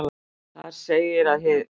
Þar segir að hið